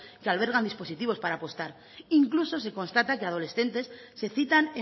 que albergan dispositivos para apostar incluso se constata que adolescentes se citan